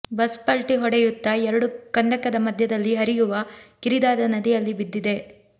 bus ಪಲ್ಟಿ ಹೊಡೆಯುತ್ತಾ ಎರಡು ಕಂದಕದ ಮಧ್ಯದಲ್ಲಿ ಹರಿಯುವ ಕಿರಿದಾದ ನದಿಯಲ್ಲಿ ಬಿದ್ದಿದೆ